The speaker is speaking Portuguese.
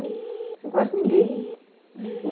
Você não conhece ninguém. Uhum